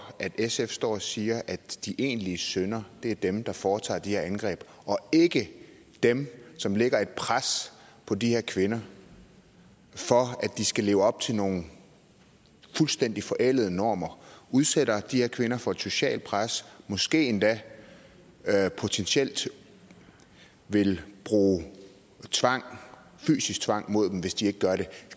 at sf står og siger at de egentlige syndere er dem der foretager de her indgreb og ikke dem som lægger et pres på de her kvinder for at de skal leve op til nogle fuldstændig forældede normer og udsætter de her kvinder for et socialt pres og måske endda potentielt vil bruge fysisk tvang mod dem hvis de ikke gør det